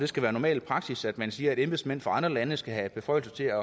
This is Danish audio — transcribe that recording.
skal være normal praksis at man siger at embedsmænd fra andre lande skal have beføjelse til